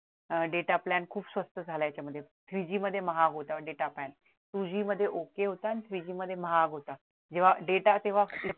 अह data plan खूप स्वस्त झाला याच्यामध्ये three G मध्ये महाग होता data plantwo G मध्ये okay होता आणि three G मध्ये महाग होता जेव्हा data तेव्हा